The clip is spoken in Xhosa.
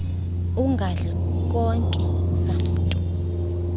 ungadli nkobe zamntu